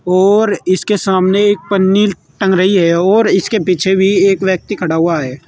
और इसके सामने एक पन्नि टंग रही है और इसके पीछे भी एक व्यक्ति खड़ा हुआ है।